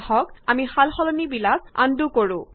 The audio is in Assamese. আহক আমি সালসলনিবিলাক আন্ডু কৰো